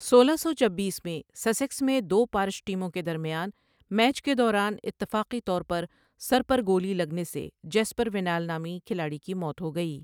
سولہ سو چبیس میں، سسیکس میں دو پارش ٹیموں کے درمیان میچ کے دوران اتفاقی طور پر سر پر گولی لگنے سے جیسپر وینال نامی کھلاڑی کی موت ہو گئی۔